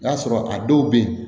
I b'a sɔrɔ a dɔw be yen